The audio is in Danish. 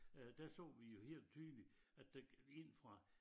Øh der så vi jo helt tydeligt at det gik ind fra